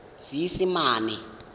seesimane